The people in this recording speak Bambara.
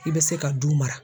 I bɛ se ka du mara.